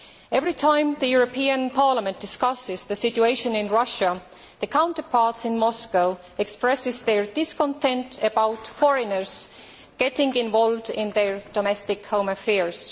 Every time the European Parliament discusses the situation in Russia, its counterparts in Moscow express their discontent about foreigners getting involved in their domestic home affairs.